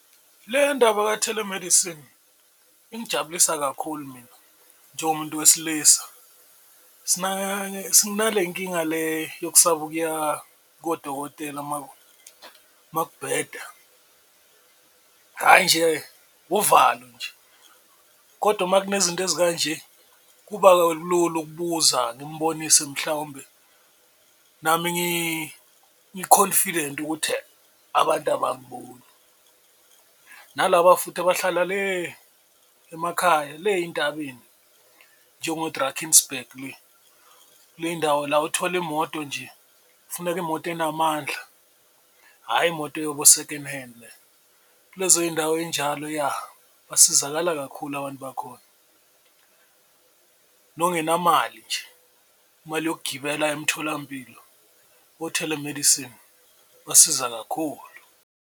Le ndaba ka-telemedicine ingijabulisa kakhulu mina njengomuntu wesilisa sinale nkinga le yokusaba ukuya kodokotela uma kubheda hhayi nje uvalo nje, kodwa uma kunezinto ezikanje kuba lula ukubuza ngimbonise mhlawumbe nami ngi-confident ukuthi abantu abangiboni. Nalaba futhi abahlala le emakhaya le ey'ntabeni njengo-Drakensberg kule y'ndawo la othola imoto nje, kufuneka imoto enamandla, hhayi imoto yobu-second hand kulezo y'ndawo ey'njalo ya basizakala kakhulu abantu bakhona nongenamali nje imali yokugibela aye emtholampilo, o-telemedicine basiza kakhulu.